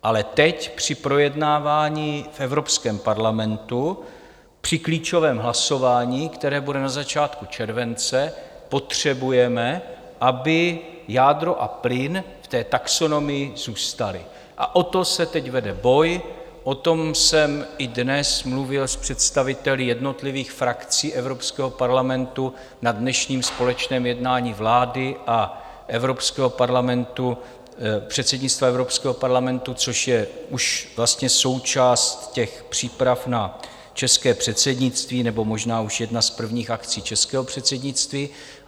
Ale teď při projednávání v Evropském parlamentu, při klíčovém hlasování, které bude na začátku července, potřebujeme, aby jádro a plyn v té taxonomii zůstaly, a o to se teď vede boj, o tom jsem i dnes mluvil s představiteli jednotlivých frakcí Evropského parlamentu na dnešním společném jednání vlády a předsednictva Evropského parlamentu, což je už vlastně součást těch příprav na české předsednictví nebo možná už jedna z prvních akcí českého předsednictví.